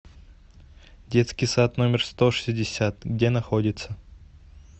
детский сад номер сто шестьдесят где находится